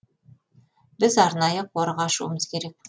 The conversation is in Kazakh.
біз арнайы қорық ашуымыз керек